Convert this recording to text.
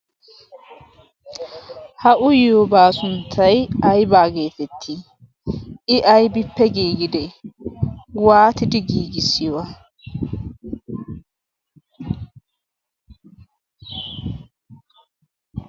ha uyiyoobaa sunttay aybaa geetettii i aybippe giigide? waatidi giigissiyuwaa